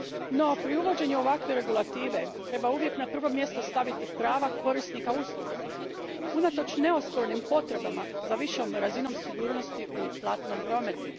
No, pri uvođenju ovakve regulative treba uvijek na prvo mjesto staviti prava korisnika usluga unatoč neospornim potrebama za višom razinom sigurnosti u platnom prometu.